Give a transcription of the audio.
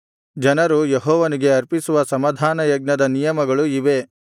ಜನರು ಯೆಹೋವನಿಗೆ ಅರ್ಪಿಸುವ ಸಮಾಧಾನಯಜ್ಞದ ನಿಯಮಗಳು ಇವೇ